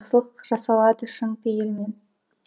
жақсылық жасалады шын пейілмен